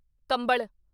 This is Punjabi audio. ਕੰਬਲ